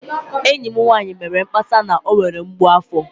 Enyi m nwanyị mere mkpesa na ọ nwere mgbu afo